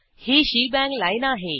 ही shebang line आहे